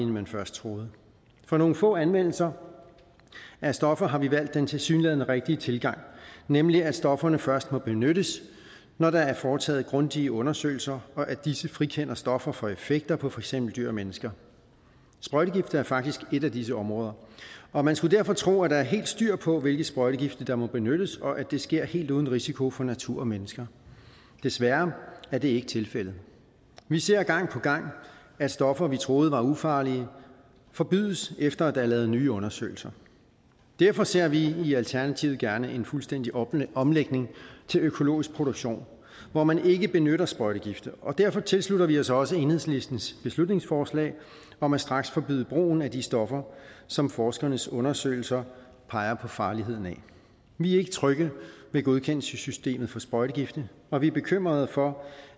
man først troede for nogle få anvendelser af stoffer har vi valgt den tilsyneladende rigtige tilgang nemlig at stofferne først må benyttes når der er foretaget grundige undersøgelser og disse frikender stoffer for effekter på for eksempel dyr og mennesker sprøjtegifte er faktisk et af disse områder og man skulle derfor tro at der er helt styr på hvilke sprøjtegifte der må benyttes og at det sker helt uden risiko for natur og mennesker desværre er det ikke tilfældet vi ser gang på gang at stoffer vi troede var ufarlige forbydes efter at der er lavet nye undersøgelser derfor ser vi i alternativet gerne en fuldstændig omlægning til økologisk produktion hvor man ikke benytter sprøjtegifte og derfor tilslutter vi os også enhedslistens beslutningsforslag om at straksforbyde brugen af de stoffer som forskernes undersøgelser peger på farligheden af vi er ikke trygge ved godkendelsessystemet for sprøjtegifte og vi er bekymrede for